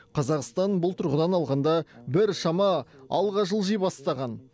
қазақстан бұл тұрғыдан алғанда біршама алға жылжи бастаған